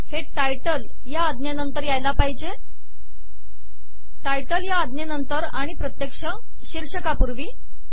हे टायटल या आज्ञेनंतर यायला पाहिजे टायटल या आज्ञेनंतर आणि प्रत्यक्ष शीर्षकापूर्वी